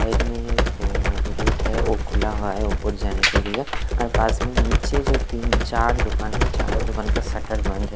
Side में ऐं-एक gate है वो खुला हुआ है ऊपर जाने के लिए और पास में ही नीचे जो तीन-चार दुकानें हैं उन चारों दुकानों का का शटर बंद है।